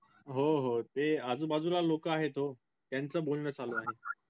हो हो ते आजूबाजूला लोक आहेत हो त्यांचं बोलणं चालू आहे.